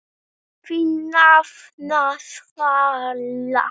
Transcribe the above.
Þín nafna, Svala.